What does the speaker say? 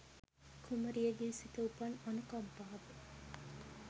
කුමරියගේ සිත උපන් අනුකම්පාව